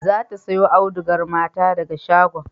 Za ta sayo audugar mata daga shagon